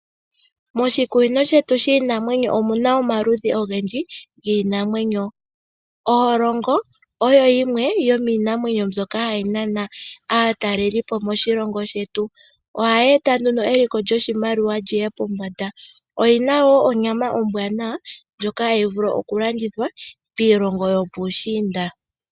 Moshikunino shetu shiinamwenyo omuna omaludhi ogendji giinamwenyo, oholongo oyo yimwe yomiinamwenyo mbyoka hayi nana aatalelipo moshilongo shetu. Ohayi eta nduno eliko lyoshimaliwa liye pombanda, oyina wo onyama ombwaanawa ndjoka hayi vulu okulandithwa piilongo yopuushiinda.